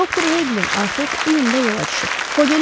Doktor Heqlin artıq iyunda yola düşüb.